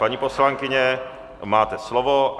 Paní poslankyně, máte slovo.